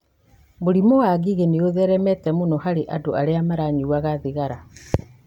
Mũrimũ wa ngigĩ nĩ ũtheremete mũno harĩ andũ arĩa manyuaga thigara.